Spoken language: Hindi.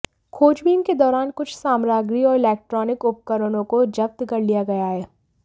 खोजबीन के दौरान कुछ सामग्री और इलेक्ट्रॉनिक उपकरणों को जब्त कर लिया गया है